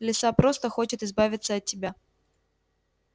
лиса просто хочет избавиться от тебя